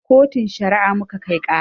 Kotun Shari'a muka kai ƙara.